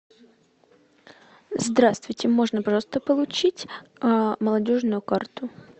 здравствуйте можно пожалуйста получить молодежную карту